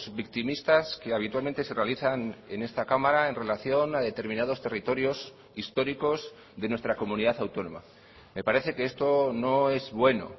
victimistas que habitualmente se realizan en esta cámara en relación a determinados territorios históricos de nuestra comunidad autónoma me parece que esto no es bueno